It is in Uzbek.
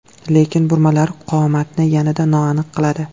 Lekin burmalar qomatni yanada noaniq qiladi.